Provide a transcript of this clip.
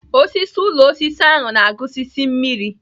Osisi ụlọ osisi ahụ na-agusisi mmiri.